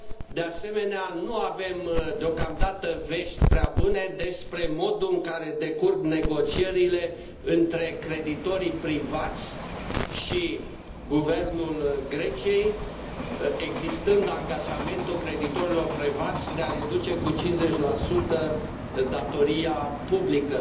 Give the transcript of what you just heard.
De asemenea, nu avem deocamdată vești prea bune despre modul în care decurg negocierile între creditorii privați și guvernul Greciei, existând angajamentul creditorilor privați de a reduce cu 50 datoria publică.